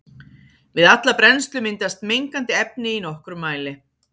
Við alla brennslu myndast mengandi efni í nokkrum mæli.